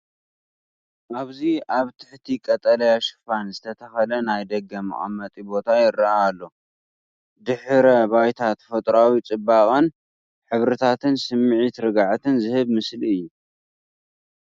ኣብዚ ኣብ ትሕቲ ቀጠልያ ሽፋን ዝተተኽለ ናይ ደገ መቐመጢ ቦታ ይረአ ኣሎ፡ ድሕረ ባይታ ተፈጥሮኣዊ ጽባቐን ሕብርታትን፡ ስምዒት ርግኣት ዝህብ ምስሊ እዩ።